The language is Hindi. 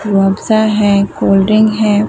रुआवज़ा हैं कोल्ड ड्रिंक हैं।